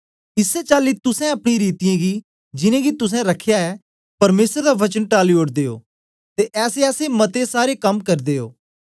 इसै चाली तुसें अपनी रीतियें गी जिनेंगी तुसें रख्या ऐ परमेसर दा वचन टाली ओड़दे ओ ते ऐसेऐसे मते सारे कम करदे ओ